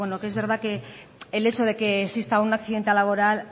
que es verdad que el hecho de que exista un accidente laboral